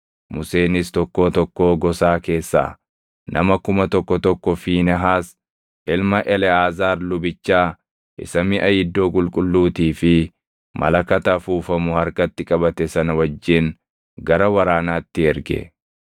Museenis tokkoo tokkoo gosaa keessaa nama kuma tokko tokko Fiinehaas ilma Eleʼaazaar lubichaa isa miʼa iddoo qulqulluutii fi malakata afuufamu harkatti qabate sana wajjin gara waraanaatti erge.